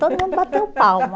Todo mundo bateu palma.